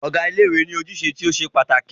Ọ̀gá ilé ìwé ní ojúṣe tí o ṣe pàtàkì.